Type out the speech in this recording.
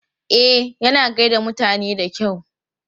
E, yana gai da mutane da kyau.